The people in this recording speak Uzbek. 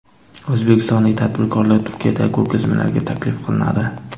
O‘zbekistonlik tadbirkorlar Turkiyadagi ko‘rgazmalarga taklif qilinadi.